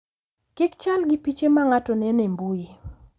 Kk chal gi piche ma ng’ato neno e mbui.